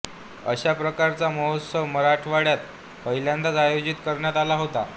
अशा प्रकारचा महोत्सव मराठवाड्यात पहिल्यांदाच आयोजित करण्यात आला होता